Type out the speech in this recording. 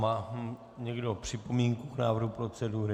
Má někdo připomínku k návrhu procedury?